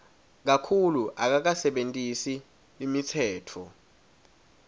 kakhulu akakasebentisi imitsetfo